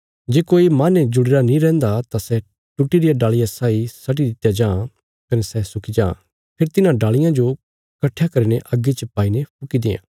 जे कोई मांहने जुड़ीरा नीं रैंहदा तां सै टुटी रिया डालिया साई सटी दित्या जां कने सै सुकी जां फेरी तिन्हां डालियां जो कट्ठयां करीने अग्गी च पाईने फुकी दें